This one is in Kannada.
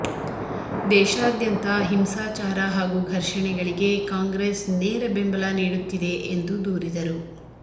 ದೇಶಾದ್ಯಂತ ಹಿಂಸಾಚಾರ ಹಾಗೂ ಘರ್ಷಣೆಗಳಿಗೆ ಕಾಂಗ್ರೆಸ್ ನೇರ ಬೆಂಬಲ ನೀಡುತ್ತಿದೆ ಎಂದು ದೂರಿದರು